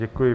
Děkuji.